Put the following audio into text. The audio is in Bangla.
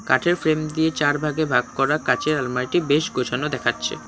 কাঠের ফ্রেম দিয়ে চার ভাগে ভাগ করা কাঁচের আলমারটি বেশ গোছানো দেখাচ্ছে।